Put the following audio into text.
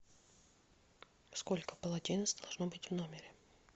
сколько полотенец должно быть в номере